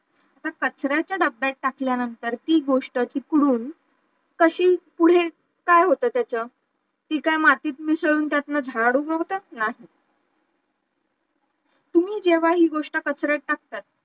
तर कचऱ्याच्या डब्ब्यात टाकल्या नंतर ती गोष्ट तिकडून कशी पुढे काय होतं त्याच, ती काय मातीत मिसळून त्यातून झाळ उगवतं, नाही तुम्ही हे गोष्ट जेव्हा कचऱ्यात टाकता